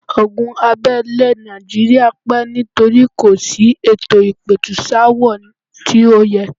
Ogun abẹ́lé nàìjíría pẹ́ nítorí kò sí ètò ìpẹ̀tùsááwọ̀ tí ó yẹ.